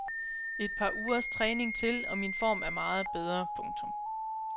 Et par ugers træning til og min form er meget bedre. punktum